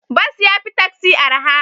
Bas ya fi taksi araha.